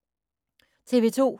TV 2